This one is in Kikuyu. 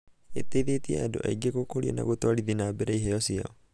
ĩteithĩtie andũ aingĩ gũkũria na gũtwarithia na mbere iheo ciao.